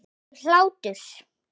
Og hlátur.